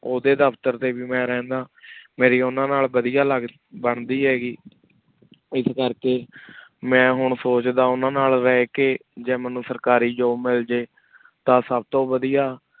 Audi ਦਫਤਰ ਟੀ ਵੇ ਮੈਂ ਰਹੰਦਾ ਮੇਰੇ ਓਹਨਾ ਨਾਲ ਵਾਦਿਯ ਲਗਦੀ ਹੇਗੀ ਇਸ ਕਰ ਕੀ ਮੈਂ ਹੁਣ ਸੋਚਦਾ ਓਹਨਾ ਨਾਲ ਰਹ ਕੀ ਜੀ ਮੇਨੂ ਸਰਕਾਰੀ job ਮਿਲ ਜਾਏ ਤਾ ਸਬ ਤੋ ਵਾਦਿਯ